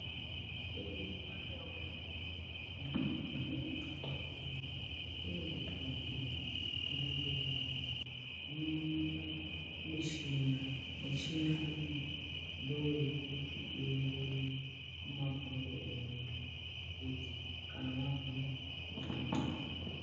Kwedu kumandau unono kunezvibhedhleya, kuzvibhehleya uku kunooneka michina michina iyi ndoyekuti iongorere mabhonzo evantu kuti kana warwara woona kurapwa.